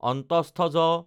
য